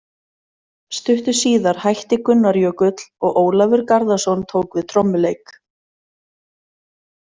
Stuttu síðar hætti Gunnar Jökull og Ólafur Garðarsson tók við trommuleik.